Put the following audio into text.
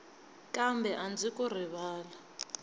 kambe a ndzi ku rivali